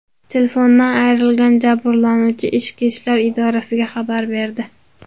Telefonidan ayrilgan jabrlanuvchi ichki ishlar idoralariga xabar berdi.